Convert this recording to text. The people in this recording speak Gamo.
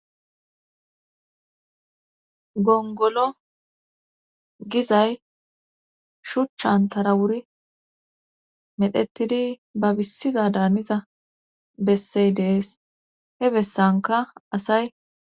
Gongolo gizay shuchchantara wuri medhetidi babissiza daaniza bessey dees he bessanka asay